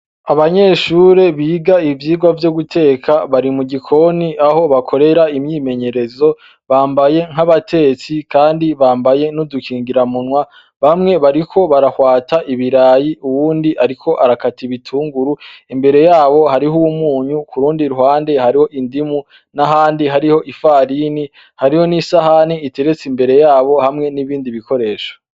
Abanyeshure biga ivyigwa vyo guteka ,bari mu gikoni aho bakorera imyimenyerezo, bambaye nk'abatetsi kandi bambaye n'udukingira munwa bamwe bariko barahwata ibirayi uwundi ariko arakati bitunguru, imbere yabo hariho umunyu kurundi ruhande hariho indimu n'ahandi hariho ifarini hariho n'isahani iteretse imbere yabo hamwe n'ibindi bikoresho.